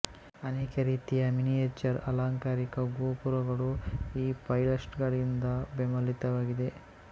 ಅನೇಕ ರೀತಿಯ ಮಿನಿಯೇಚರ್ ಅಲಂಕಾರಿಕ ಗೋಪುರಗಳು ಈ ಪೈಲಸ್ಟರ್ಗಳಿಂದ ಬೆಂಬಲಿತವಾಗಿದೆ